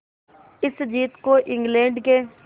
इस जीत को इंग्लैंड के